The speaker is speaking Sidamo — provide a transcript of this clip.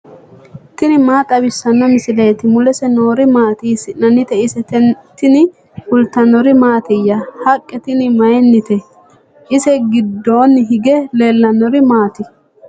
tini maa xawissanno misileeti ? mulese noori maati ? hiissinannite ise ? tini kultannori mattiya? haqqe tinni mayiinnite? ise giddonni hige leelannori maatti?